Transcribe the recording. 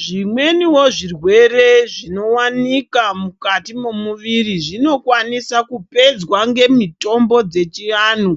Zvimweniwo zvirwere, zvinowanika mukati momuviri, zvinokwanisa kupedzwa ngemitombo dzechiantu